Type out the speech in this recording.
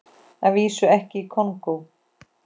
Að vísu ekki í Kongó.